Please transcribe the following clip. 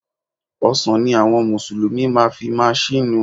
Ọsàn ni àwọn mùsùlùmí máa fi máa ṣínu.